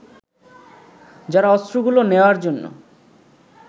যারা অস্ত্রগুলো নেওয়ার জন্য